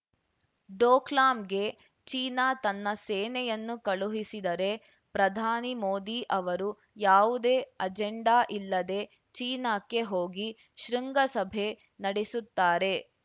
ಡೋಕ್ಲಾಮ್‌ಗೆ China ತನ್ನ ಸೇನೆಯನ್ನು ಕಳುಹಿಸಿದರೆ ಪ್ರಧಾನಿ ಮೋದಿ ಅವರು ಯಾವುದೇ ಅಜೆಂಡಾ ಇಲ್ಲದೇ ಚೀನಾಕ್ಕೆ ಹೋಗಿ ಶೃಂಗಸಭೆ ನಡೆಸುತ್ತಾರೆ